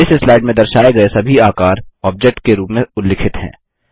इस स्लाइड में दर्शाये गये सभी आकार ऑब्जेक्ट के रूप में उल्लिखित हैं